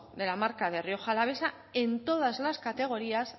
de la marca rioja alavesa en todas las categorías